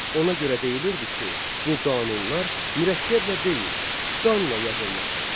Ona görə deyilirdi ki, bu qanunlar mürəkkəblə deyil, qanla yazılmışdır.